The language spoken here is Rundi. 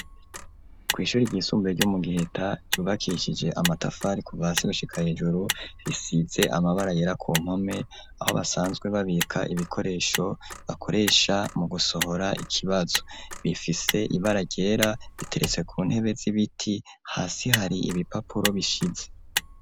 Kw'ishuri ryisumbuye ry'omu giheta yubakishije amatafari ku basi gushika hejuru risidze amabara yera ku nkome aho basanzwe babika ibikoresho bakoresha mu gusohora ikibazo bifise ibaragera biteretse ku ntebe z'ibiti hasi hari ibipapuro bishize.